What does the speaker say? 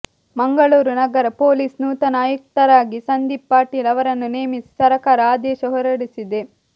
ಮಂಗಳೂರು ನಗರ ಪೊಲೀಸ್ ನೂತನ ಆಯುಕ್ತರಾಗಿ ಸಂದೀಪ್ ಪಾಟೀಲ್ ಅವರನ್ನು ನೇಮಿಸಿ ಸರಕಾರ ಆದೇಶ ಹೊರಡಿಸಿದೆ